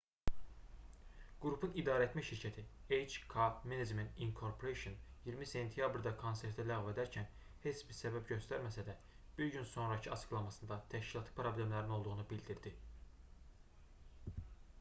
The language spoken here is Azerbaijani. qrupun idarəetmə şirkəti hk management inc 20 sentyabrda konserti ləğv edərkən heç bir səbəb göstərməsə də bir gün sonakı açıqlamasında təşkilati problemlərin olduğunu bildirdi